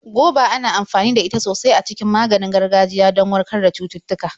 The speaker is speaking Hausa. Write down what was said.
Goba ana amfani da ita sosai a cikin maganin gargajiya do warkar da cututtuka.